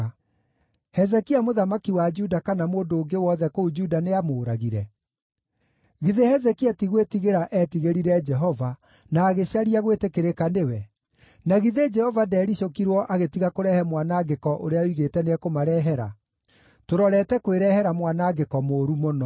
“Hezekia mũthamaki wa Juda kana mũndũ ũngĩ wothe kũu Juda nĩamũũragire? Githĩ Hezekia ti gwĩtigĩra eetigĩrire Jehova, na agĩcaria gwĩtĩkĩrĩka nĩwe? Na githĩ Jehova ndeericũkirwo agĩtiga kũrehe mwanangĩko ũrĩa oigĩte nĩekũmarehera? Tũrorete kwĩrehere mwanangĩko mũũru mũno!”